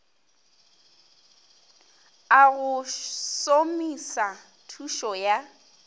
a go somisa thuso ya